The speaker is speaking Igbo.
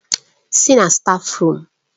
Sì na stáfruum!